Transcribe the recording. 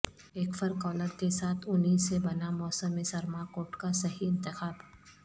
ایک فر کالر کے ساتھ اونی سے بنا موسم سرما کوٹ کا صحیح انتخاب